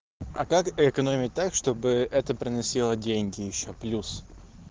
а как экономить так чтобы это приносило деньги ещё плюс